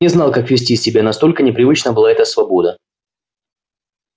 не знал как вести себя настолько непривычна была эта свобода